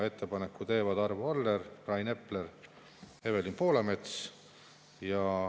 Ettepaneku teevad Arvo Aller, Rain Epler ja Evelin Poolamets.